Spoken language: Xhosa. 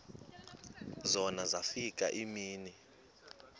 zona zafika iimini